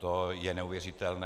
To je neuvěřitelné.